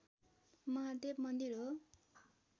महादेव मन्दिर हो